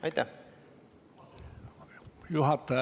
Aitäh!